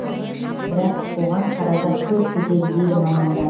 бірақ оған қаражат көп кетеді дейді мамандар